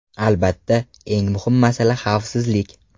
Albatta, eng muhim masala xavfsizlik.